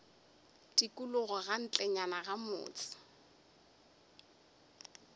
tikologo ka ntlenyana ga motse